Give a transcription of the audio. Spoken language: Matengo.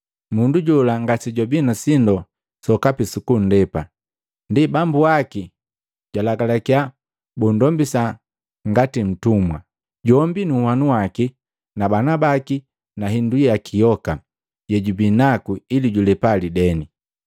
Mundu jola ngasejwabi na sindu sokapi sukunndepa, ndi bambu waki jwaalagalakiya bunndombisa ngati ntumwa, jombi nunhwanu waki na bana baki na nahindu yoka yejubinaku ili julepa lideni.